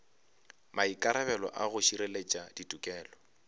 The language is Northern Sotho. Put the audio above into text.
maikarabelo a go šireletša tikologo